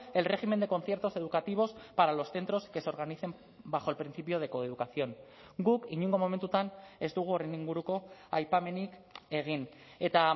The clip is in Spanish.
el régimen de conciertos educativos para los centros que se organicen bajo el principio de coeducación guk inongo momentutan ez dugu horren inguruko aipamenik egin eta